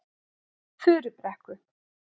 Furubrekku